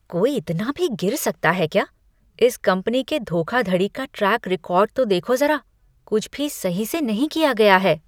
कोई इतना भी गिर सकता है क्या? इस कंपनी के धोखाधड़ी का ट्रैक रिकॉर्ड तो देखो ज़रा कुछ भी सही से नहीं किया गया है।